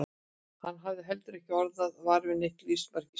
Hann hafði heldur ekki orðið var við neitt lífsmark á svölunum.